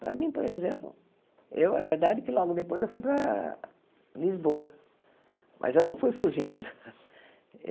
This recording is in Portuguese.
Para mim, por exemplo, eu é verdade que logo depois eu fui para Lisboa, mas eu não fui fugindo.